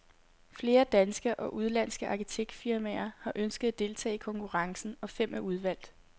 Flere danske og udenlandske arkitektfirmaer har ønsket at deltage i konkurrencen, og fem er udvalgt.